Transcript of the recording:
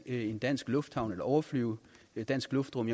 en dansk lufthavn eller overflyve dansk luftrum